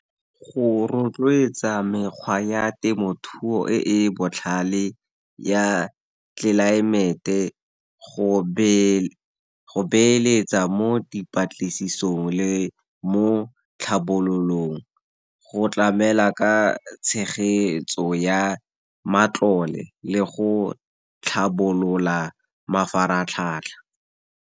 Go rotloetsa mekgwa ya temothuo e e botlhale ya tlelaemete, go beeletsa mo dipatlisisong le mo tlhabololong, go tlamela ka tshegetso ya matlole, le go tlhabolola mafaratlhatlha.